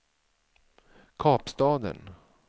Kapstaden